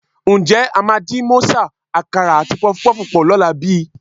Ǹjẹ́ a máa dín mọ́sà, àkàrà àti pọfupọ́ọ̀fù pọ̀ lọ́la bí?